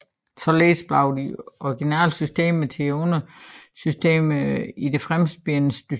Således bliver de originale systemer til undersystemer i det fremspirende system